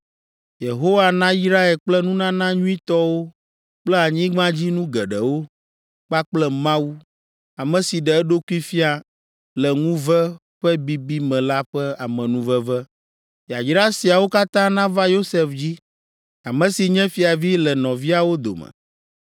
Yehowa nayrae kple nunana nyuitɔwo kple anyigbadzinu geɖewo, kpakple Mawu, ame si ɖe eɖokui fia le ŋuve ƒe bibi me la ƒe amenuveve. Yayra siawo katã nava Yosef dzi. Ame si nye fiavi le nɔviawo dome.